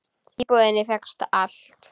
Því í búðinni fékkst allt.